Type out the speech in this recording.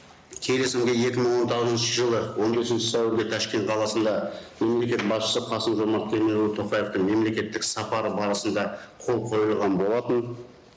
келісімге екі мың он тоғызыншы жылы он бесінші сәуірде ташкент қаласында мемлекет басшысы қасым жомарт кемелұлы тоқаевтың мемлекеттік іс сапары барысында қол қойылған болатын